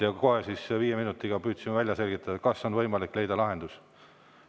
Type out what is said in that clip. Ja kohe, viie minutiga püüdsime välja selgitada, kas on võimalik leida lahendust.